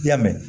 I y'a mɛn